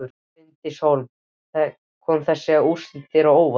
Bryndís Hólm: Koma þessi úrslit þér á óvart?